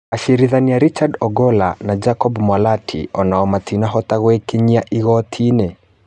Acirithania Richard Ogola na Jacob Mwalati onao matinahota gwĩkinya igooti-inĩ.